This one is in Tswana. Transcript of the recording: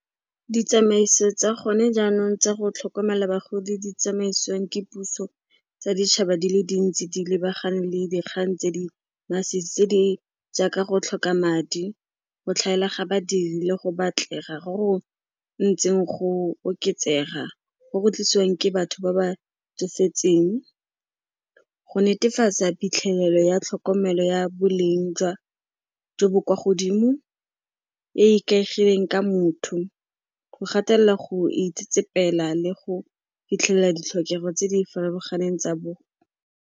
Ditsamaiso tsa gone jaanong tsa go tlhokomela bagodi di tsamaisiwang ke puso tsa ditšhaba di le dintsi di lebagane le dikgang tse di masisi tse di jaaka go tlhoka madi, go tlhaela ga badiri le go batlega go go ntseng go oketsega go go tlisiwang ke batho ba ba tsofetseng. Go netefatsa phitlhelelo ya tlhokomelo ya boleng jo bo kwa godimo e e ikaegileng ka motho, go gatelela go itsetsepela le go fitlhelela ditlhokego tse di farologaneng tsa bo.